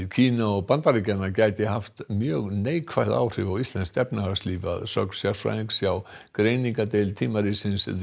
Kína og Bandaríkjanna gæti haft mjög neikvæð áhrif á íslenskt efnahagslíf að sögn sérfræðings hjá greiningardeild tímaritsins